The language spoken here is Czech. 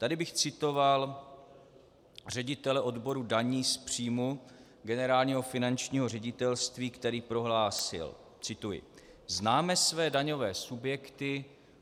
Tady bych citoval ředitele odboru daní z příjmu Generálního finančního ředitelství, který prohlásil - cituji: "Známe své daňové subjekty.